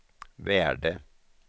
värde